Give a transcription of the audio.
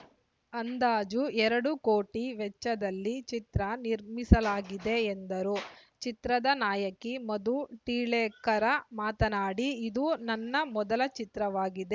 ಅಂದಾಜು ಎರಡು ಕೋಟಿ ವೆಚ್ಚದಲ್ಲಿ ಚಿತ್ರ ನಿರ್ಮಿಸಲಾಗಿದೆ ಎಂದರು ಚಿತ್ರದ ನಾಯಕಿ ಮಧು ಟಿಳೇಕರ ಮಾತನಾಡಿ ಇದು ನನ್ನ ಮೊದಲ ಚಿತ್ರವಾಗಿದೆ